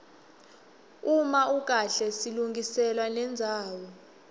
uma ukahle silungiselwa nendzawo